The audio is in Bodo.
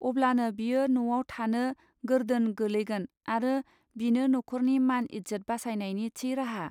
अब्लानो बियो न'आव थानो गोरदोन गोलैगोन आरो बिनो नखरनि मान इज्जत बासायनायनि थि राहा.